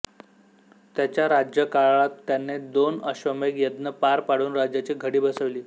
त्याच्या राज्यकाळात त्याने दोन अश्वमेध यज्ञ पार पाडून राज्याची घडी बसवली